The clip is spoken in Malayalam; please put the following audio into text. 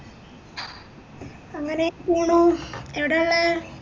എങ്ങനെക്കെയാണ് എവിടളേ